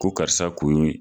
Ko karisa kun ye